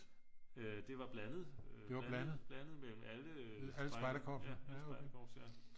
det var blandet blandet mellem alle spejderkorps